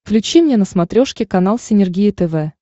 включи мне на смотрешке канал синергия тв